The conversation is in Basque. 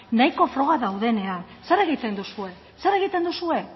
nahiko frogak daudenean zer egiten duzue zer egiten duzue